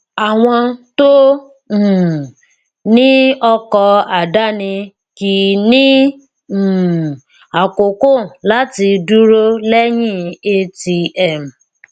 àwọn tó um ní ọkọ àdáni kìí ní um àkókò láti dúró lẹyin atm